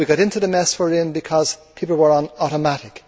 We got into the mess we are in because people were on automatic.